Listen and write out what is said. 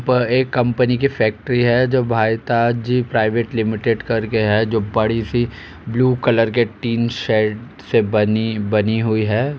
पर ए कंपनी की फैक्ट्री हैं जो भाईताज प्राइवेट लिमिटेड करके है। जो बड़ी सी ब्लू कलर के टिन शेल से बनी बनी हुई हैं।